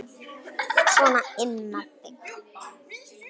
Sona inn með þig!